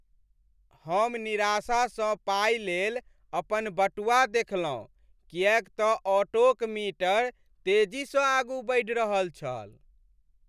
हम निराशासँ पाइ लेल अपन बटुआ देखलहुँ किएक तऽ ऑटोक मीटर तेजीसँ आगू बढ़ि रहल छल।